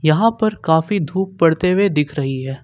यहां पर काफी धूप पड़ते हुए दिख रही है।